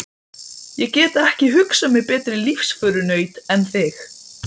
Ég get ekki hugsað mér betri lífsförunaut en þig.